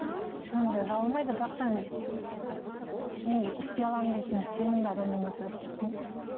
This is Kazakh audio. жөнді жабылмайды бірақ та енді істей аламын дейтін сенімді адам болмаса істетпеймін